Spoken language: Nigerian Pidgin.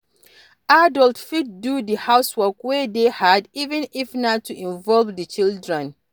Adult fit do di housework wey hard even if na to involve di children